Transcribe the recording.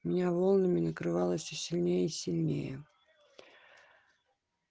меня волнами накрывала все сильнее и сильнее